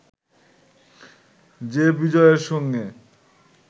যে বিজয়ের সঙ্গে